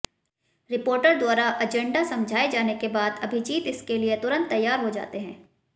reporter द्वारा agenda समझाए जाने के बाद अभिजीत इसके लिए तुरंत तैयार हो जाते हैं